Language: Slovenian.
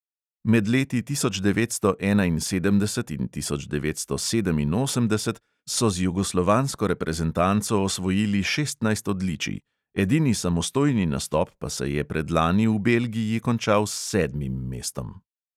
Med leti tisoč devetsto enainsedemdeset in tisoč devetsto sedeminosemdeset so z jugoslovansko reprezentanco osvojili šestnajst odličij, edini samostojni nastop pa se je predlani v belgiji končal s sedmim mestom.